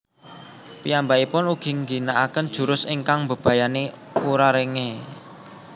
Piyambakipun ugi ngginakaken jurus ingkang mbebayani Urarenge